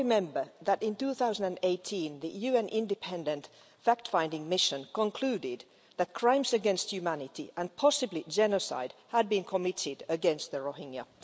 We all remember that in 2018 the UN independent fact-finding mission concluded that crimes against humanity and possibly genocide had been committed against the Rohingya.